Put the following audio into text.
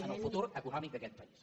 en el futur econòmic d’aquest país